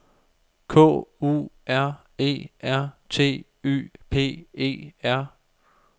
K U R E R T Y P E R